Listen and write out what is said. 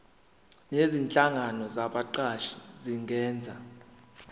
nezinhlangano zabaqashi zingenza